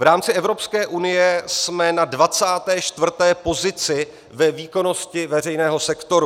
V rámci Evropské unie jsme na 24. pozici ve výkonnosti veřejného sektoru.